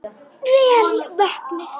Vel vöknuð!